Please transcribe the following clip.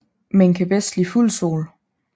Men kan bedst lide fuld sol